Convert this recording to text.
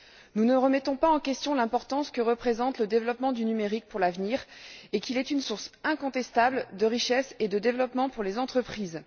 Nous ne remettons pas en question l'importance que représente le développement du numérique pour l'avenir et qu'il est une source incontestable de richesse et de développement pour les entreprises.